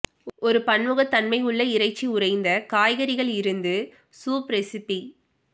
ஒரு பன்முகத்தன்மை உள்ள இறைச்சி உறைந்த காய்கறிகள் இருந்து சூப் ரெசிபி